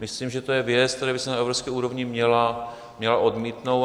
Myslím, že to je věc, která by se na evropské úrovni měla odmítnout.